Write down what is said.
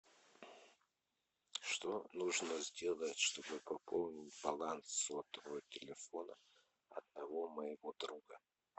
что нужно сделать чтобы пополнить баланс сотового телефона одного моего друга